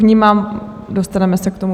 Vnímám, dostaneme se k tomu.